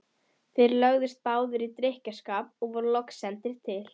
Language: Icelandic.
Þeir lögðust báðir í drykkjuskap og voru loks sendir til